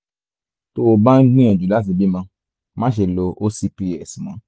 tó o bá ń gbìyànjú láti bímọ máṣe lo ocps mọ́